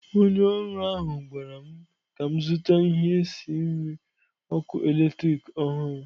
Onye ọrụ ahụ gwara m ka m zụta ihe esi nri ọkụ eletrik ọhụrụ.